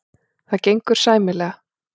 Það gengur sæmilega.